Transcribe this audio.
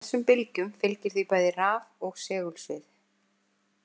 Þessum bylgjum fylgir því bæði raf- og segulsvið.